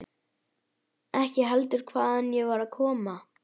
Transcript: Ekki heldur hvaðan ég var að koma.